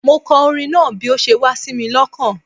Mo kọ orin náà bi o se wá sími lokàn